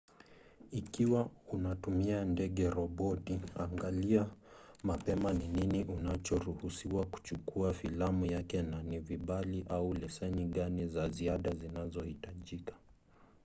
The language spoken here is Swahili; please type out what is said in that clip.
ikiwa unatumia ndege-roboti angalia mapema ni nini unachoruhusiwa kuchukua filamu yake na ni vibali au leseni gani za ziada zinazohitajika